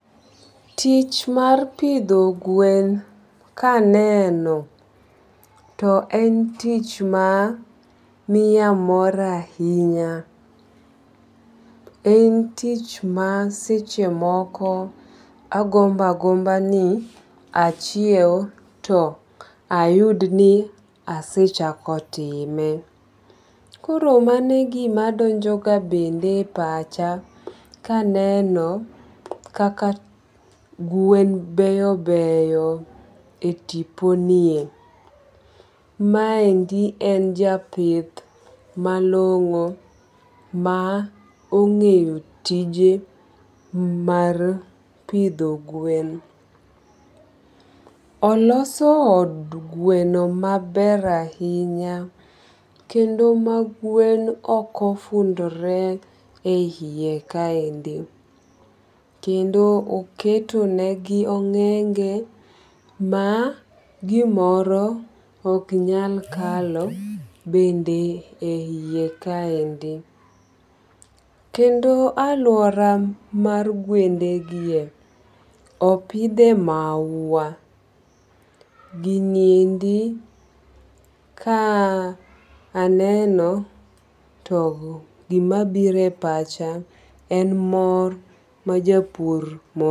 Tich mar pidho gwen kaneno to en tich ma miya mor ahinya. En tich ma seche moko agomboagomba ni achiew to ayudni asechako time. Koro mano e gimadonjo ga bende e pacha kaneno kaka gwen beyo beyo e tiponie. Maendi en japith malong'o maong'eyo tije mar pidho gwen. Oloso od gweno maber ahinya kendo ma gwen okofundore e hiye kaendi kendo oketo negi ong'enge ma gimoro oknyal kalo bende e iye kaendi. Kendo alwora mar gwendegie opidhe maua, giniendi ka aneno to gimabiro e pacha en mor ma japur morgo.